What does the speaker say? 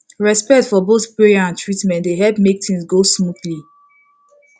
respect for both prayer and treatment dey help make things go smoothly